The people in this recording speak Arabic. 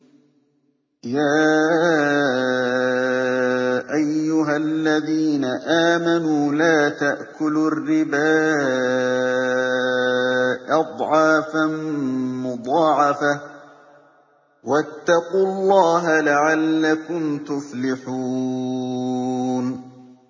يَا أَيُّهَا الَّذِينَ آمَنُوا لَا تَأْكُلُوا الرِّبَا أَضْعَافًا مُّضَاعَفَةً ۖ وَاتَّقُوا اللَّهَ لَعَلَّكُمْ تُفْلِحُونَ